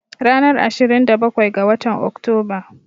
Ranar Ashirin da bakwai ga watan Oktoba.